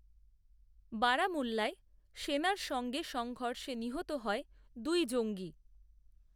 বারামুল্লায়, সেনার সঙ্গে সংঘর্ষে নিহত হয় দুই জঙ্গি